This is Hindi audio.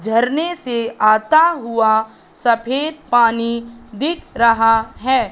झरने से आता हुआ सफेद पानी दिख रहा है।